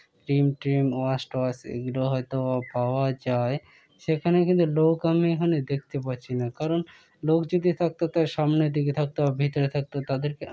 cream টিম wash টোয়াস এগুলো হয়তো বা পাওয়া যায় সেখানে কিন্তু লোক আমি এখানেদেখতে পাচ্ছি না কারণ লোক যদি থাকতো তার সামনে দিকে থাকত ভিতরের দিকে থাকত তাদেরকে--